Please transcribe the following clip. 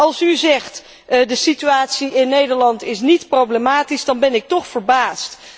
En als u zegt dat de situatie in Nederland niet problematisch is, dan ben ik toch verbaasd.